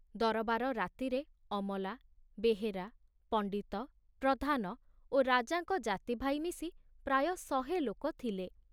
ଦରବାର ରାତିରେ ଅମଲା, ବେହେରା, ପଣ୍ଡିତ, ପ୍ରଧାନ ଓ ରାଜାଙ୍କ ଜାତି ଭାଇ ମିଶି ପ୍ରାୟ ଶହେ ଲୋକ ଥିଲେ।